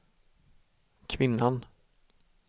kvinnan